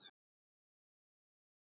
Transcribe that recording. Það má hann alls ekki.